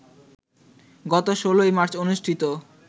গত ১৬ মার্চ অনুষ্ঠিত